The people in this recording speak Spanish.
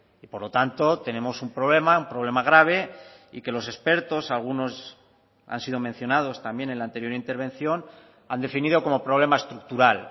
y por lo tanto tenemos un problema un problema grave y que los expertos algunos han sido mencionados también en la anterior intervención han definido como problema estructural